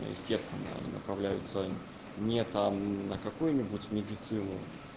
естественно направляются не там на какую-нибудь медицину